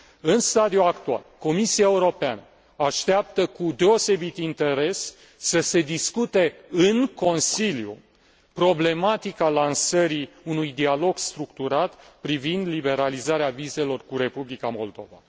În stadiul actual, Comisia Europeană așteaptă cu deosebit interes să se discute în Consiliu problematica lansării unui dialog structurat privind liberalizarea vizelor cu Republica Moldova.